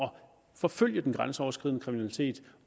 forfølge den grænseoverskridende kriminalitet